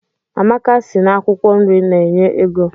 Amaka sị na akwụkwọ nri na-enye ego.